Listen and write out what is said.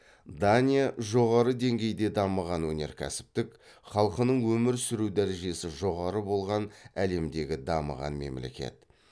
дания жоғары деңгейде дамыған өнеркәсіптік халқының өмір сүру дәрежесі жоғары болған әлемдегі дамыған мемлекет